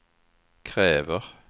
kräver